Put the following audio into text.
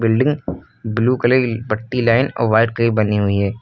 Building blue colour की पट्टी line और व्हाईट कलर बनी हुई है।